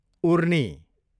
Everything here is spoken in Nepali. उर्नी